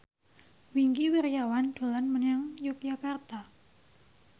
Wingky Wiryawan dolan menyang Yogyakarta